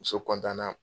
Muso na